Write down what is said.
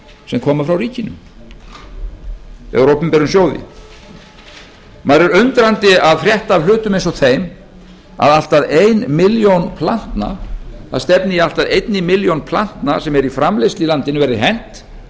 sem koma frá ríkinu eða úr opinberum sjóði maður er undrandi að frétta af hlutum eins og þeim að allt að ein milljón plantna það stefni í að allt að einni milljón plantna sem eru í framleiðslu í landinu verði hent